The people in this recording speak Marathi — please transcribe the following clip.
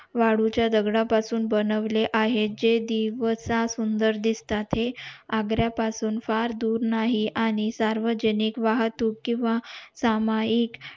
वाळूच्या दगडा पासून बनवले आहे जे दिवसा सुंदर दिसतात हे आग्रा पासून फार दूर नाही आणि सार्वजनिक वाहतूक किंवा सामाहिक